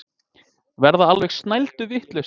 Verða alveg snælduvitlausir.